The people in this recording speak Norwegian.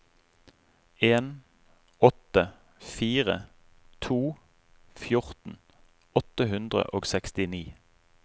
en åtte fire to fjorten åtte hundre og sekstini